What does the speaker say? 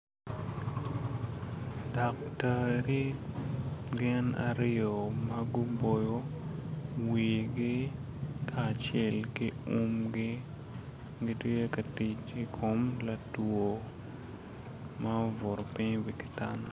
Datari gin aryo ma guboyo wigi kacel ki umgi gitye ka tic i kom latwo ma obwuto piny i wi ki tanda